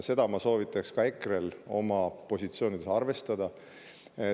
Seda ma soovitaks ka EKRE‑l oma positsioonides arvestada.